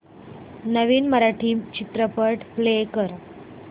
नवीन मराठी चित्रपट प्ले कर